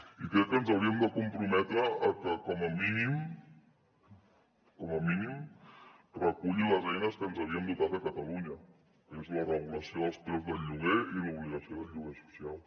i crec que ens hauríem de comprometre a que com a mínim com a mínim reculli les eines que ens havíem dotat a catalunya que és la regulació dels preus del lloguer i l’obligació del lloguer social